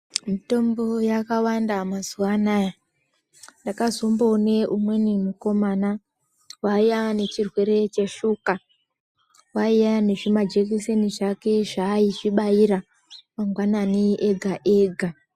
Mitombo yaka wanda mazuva anaya ndaka zombo one umweni mukomana waiya ane chirwere che shuka waiya ne zvima jekiseni zvake zva ayizvi baira mangwanani ega ega.